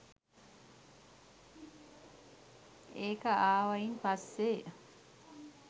ඒක ආවායින් පස්සෙ